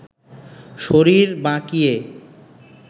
শরীর বাঁকিয়ে